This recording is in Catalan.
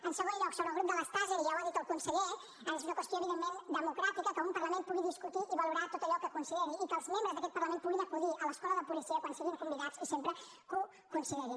en segon lloc sobre el grup de les taser i ja ho ha dit el conseller és una qüestió evidentment democràtica que un parlament pugui discutir i valorar tot allò que consideri i que els membres d’aquest parlament puguin acudir a l’escola de policia quan siguin convidats i sempre que ho considerin